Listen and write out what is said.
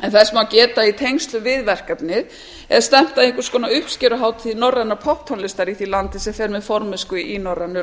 en þess má geta að í tengslum við verkefnið er stefnt að eins konar uppskeruhátíð norrænar popptónlistar í því landi sem fer með formennsku í norrænu